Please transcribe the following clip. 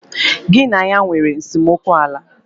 Ị na ya nwere esemokwu ala?